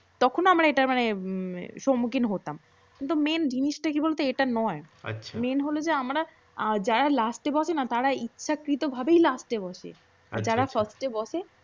তখন আমরা এটা মানে সম্মুখীন হতাম। কিন্তু main জিনিসটা কি বলব এটা নয়। আচ্ছা main হল যে আমরা যারা লাস্টে বসে না তারা ইচ্ছাকৃত ভাবেই লাস্টে বসে। যারা ফার্স্টে বসে